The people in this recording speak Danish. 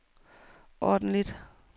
ordentligt